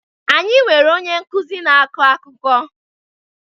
Anyị nwere onye nkuzi na-akọ akụkọ